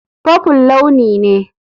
Purple launi ne.